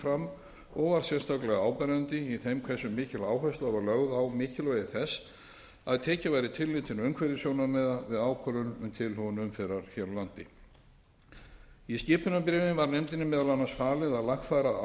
sérstaklega áberandi í þeim hversu mikil áhersla var lögð á mikilvægi þess að tekið væri tillit til umhverfissjónarmiða við ákvörðun um tilhögun umferðar hér á landi í skipunarbréfi var nefndinni meðal annars falið að lagfæra